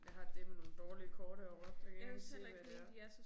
Jeg har dæleme nogle dårlige kort herovre jeg kan ikke engang se hvad det er